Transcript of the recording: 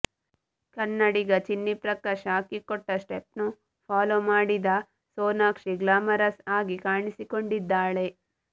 ಕನ್ನಡಿಗ ಚಿನ್ನಿಪ್ರಕಾಶ್ ಹಾಕಿಕೊಟ್ಟ ಸ್ಟೆಪ್ನ್ನು ಫಾಲೋ ಮಾಡಿದ ಸೋನಾಕ್ಷಿ ಗ್ಲಾಮರಸ್ ಆಗಿ ಕಾಣಿಸಿಕೊಂಡಿದ್ದಾಳೆ